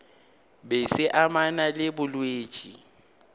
be se amana le bolwetši